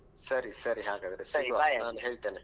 ಸರಿ ಸರಿ ಹಾಗಾದ್ರೆ ಸಿಗುವ ನಾನ್ ಹೇಳ್ತೇನೆ